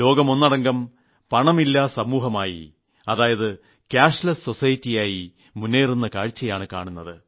ലോകം ഒന്നടങ്കം പണമില്ലാ സമൂഹമായി കാഷ്ലെസ് സൊസൈറ്റി മുേന്നറുന്ന കാഴ്ചയാണ് കാണുന്നത്